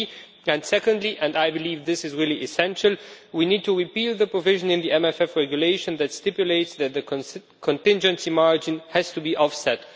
3 and secondly and I believe this is really essential we need to repeal the provision in the MFF regulation that stipulates that the contingency margin has to be offset.